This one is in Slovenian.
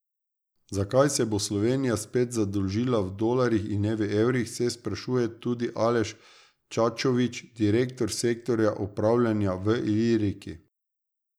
Zakaj se bo Slovenija spet zadolžila v dolarjih in ne evrih, se sprašuje tudi Aleš Čačovič, direktor sektorja upravljanja v Iliriki.